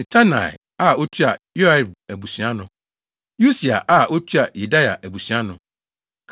Matenai a otua Yoiarib abusua ano. Usi a otua Yedaia abusua ano.